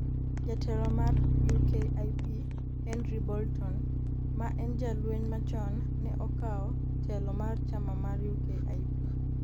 jatelo mar UKIP Henry Bolton ma en jalweny machon ne okawo telo mar chama mar UKIP